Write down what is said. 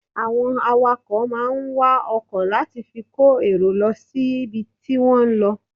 Àwọn awakọ̀ máà ń wa ọkọ̀ láti fi kó èrò lọ síbi tí wọ́n ń lọ.